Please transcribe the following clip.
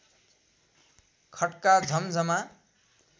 खट्का झम्झमा